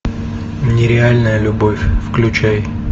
нереальная любовь включай